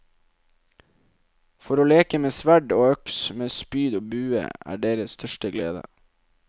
For å leke med sverd og øks, med spyd og bue, er deres største glede.